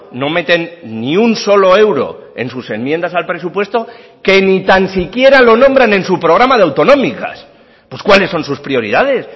no meten ni un solo euro en sus enmiendas al presupuesto que ni tan siquiera lo nombran en su programa de autonómicas pues cuáles son sus prioridades